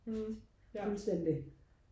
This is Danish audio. hm ja